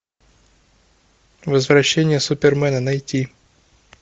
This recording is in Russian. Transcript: возвращение супермена найти